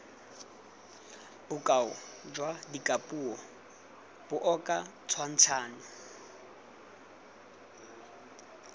bokao jwa dikapuo jaoka tshwantshanyo